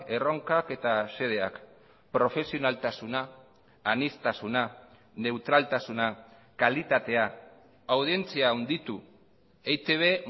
erronkak eta xedeak profesionaltasuna aniztasuna neutraltasuna kalitatea audientzia handitu eitb